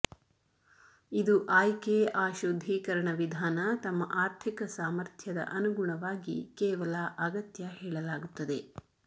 ಇದು ಆಯ್ಕೆ ಆ ಶುದ್ಧೀಕರಣ ವಿಧಾನ ತಮ್ಮ ಆರ್ಥಿಕ ಸಾಮರ್ಥ್ಯದ ಅನುಗುಣವಾಗಿ ಕೇವಲ ಅಗತ್ಯ ಹೇಳಲಾಗುತ್ತದೆ